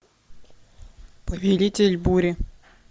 повелитель бури